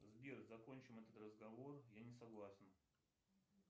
сбер закончим этот разговор я не согласен